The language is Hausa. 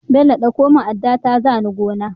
Bello ɗauko mun adda ta zani gona